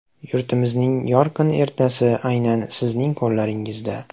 Yurtimizning yorqin ertasi aynan sizning qo‘llaringizda.